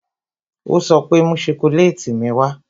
Ó sọ pé "Mú sokoleti mi wá"